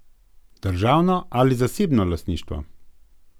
Državno ali zasebno lastništvo?